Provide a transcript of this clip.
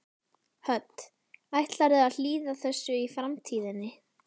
Hödd: Ætlarðu að hlýða þessu í framtíðinni?